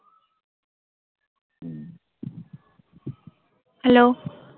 Hello?